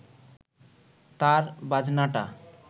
তার বাজনাটা